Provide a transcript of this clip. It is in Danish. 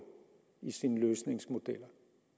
i sine løsningsmodeller